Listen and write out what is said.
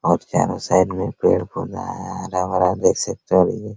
और चारों साइड में पेड़-पौधा है हरा-भरा देख सकते हैं अभी भी।